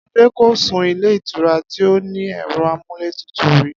Adé ko sun ilé ìtura tí ó ní è̩ro̩ amúlétutù rí